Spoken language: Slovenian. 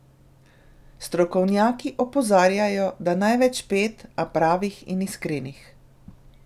Strokovnjaki opozarjajo, da največ pet, a pravih in iskrenih!